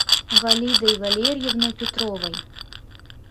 валидой валерьевной петровой